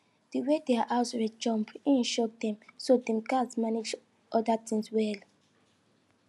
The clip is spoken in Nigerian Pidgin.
di way their house rent jump e shock dem so dem gatz manage other tins well